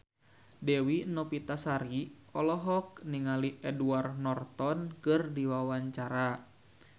Dewi Novitasari olohok ningali Edward Norton keur diwawancara